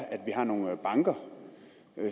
at vi har nogle banker